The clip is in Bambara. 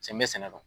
Cɛ n bɛ sɛnɛ dɔn